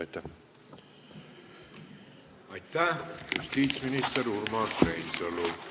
Aitäh, justiitsminister Urmas Reinsalu!